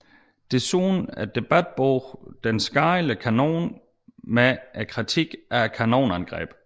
Desuden debatbogen Den skadelige kanon med en kritik af kanonbegrebet